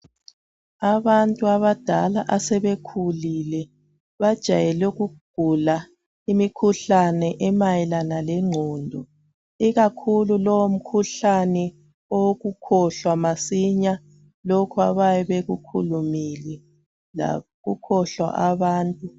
Abantu abadala asebekhulile bajayele ukugula imikhuhlane emayelana lengqondo. Ikakhulu lo umkhuhlane wokukhohlwa masinya lokho abayabe bekukhulumile lokukhohlwa abantu.